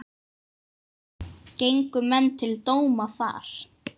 Gengu menn til dóma þar.